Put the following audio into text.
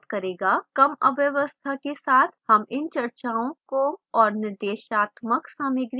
कम अव्यवस्था के साथ हम इन चर्चाओं को निर्देशात्मक सामग्री के रूप में उपयोग कर सकते हैं